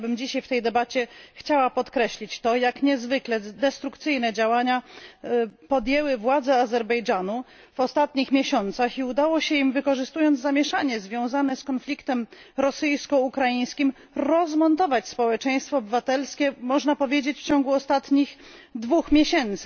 Ja chciałabym dzisiaj w tej debacie podkreślić to, jak niezwykle destrukcyjne działania podjęły władze Azerbejdżanu w ostatnich miesiącach i udało im się, wykorzystując zamieszanie związane z konfliktem rosyjsko ukraińskim, rozmontować społeczeństwo obywatelskie, można powiedzieć, w ciągu ostatnich 2 miesięcy.